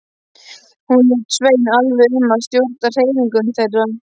Hún lét Svein alveg um að stjórna hreyfingum þeirra.